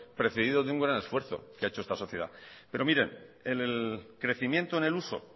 preferido de un gran esfuerzo que ha hecho esta sociedad pero miren el crecimiento en el uso